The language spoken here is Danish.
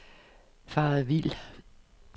faret vild